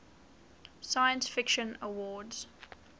science fiction awards